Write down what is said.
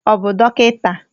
Ọ bụ dọkịta?